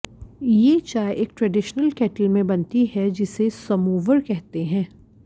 ये चाय एक ट्रेडिशनल केटल में बनती है जिसे समोवर कहते हैं